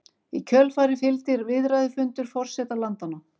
Í kjölfarið fylgdi viðræðufundur forseta landanna